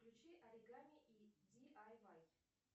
включи оригами и ди ай вай